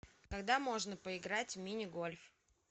когда можно поиграть в мини гольф